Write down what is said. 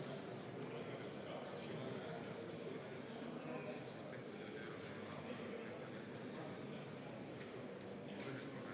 Kas te saaksite kinnitada, et siiski oli siin minister Signe Riisalo ja mitte Riina Sikkut?